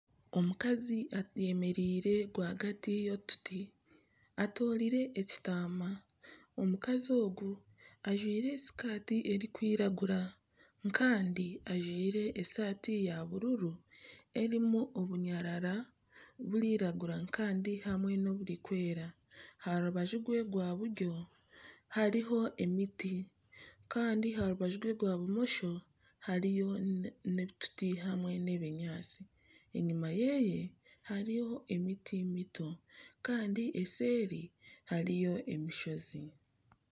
Omukazi ayemereire rwagati y'otuti, atwire ekitaama, omukazi ogu ajwire sikaati erikwiragura kandi ajwire eshaati ya bururu erimu obunyarara burikwiragura hamwe n'oburikwera aha rubaju rwe rwa buryo hariho emiti kandi aha rubaju rwe rwa bumosho hariyo otuti hamwe n'ebinyaatsi, enyima ye hariyo miti mito kandi eseeri hariyo emishozi